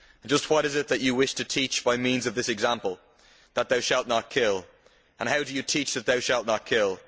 And just what is it that you wish to teach by means of this example? That thou shalt not kill. And how do you teach that thou shalt not kill?